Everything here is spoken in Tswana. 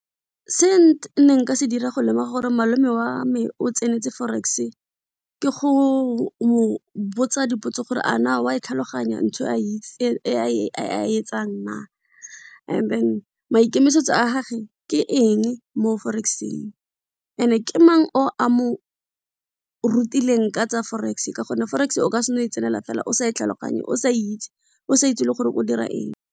Se ne nka se dira go lemoga gore malome wame o tsentse forex ke go mo botsa dipotso gore a na wa e tlhaloganya ntho a etsang na and then maikemisetso a gage ke eng mo forex-eng and-e ke mang o a mo rutileng ka tsa forex ka gonne forex o ka seno e tsenela fela, o sa e tlhaloganye, o sa itse, o sa itse le gore o dira eng.